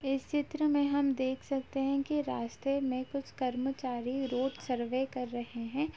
इस चित्र में हम देख सकते हैं की रास्ते में कुछ कर्मचारी रोड सर्वे कर रहे हैं।